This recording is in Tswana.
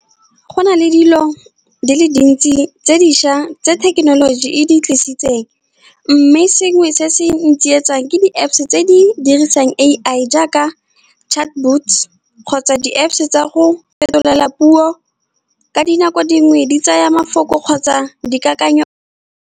Go na le dilo di le dintsi tse dišwa tse thekenoloji e di tlisitseng. Mme sengwe se se ntsietsang ke di-Apps tse di dirisang A_I, jaaka chatbots kgotsa di-Apps tsa go fetolela puo, ka dinako dingwe di tsaya mafoko kgotsa dikakanyo.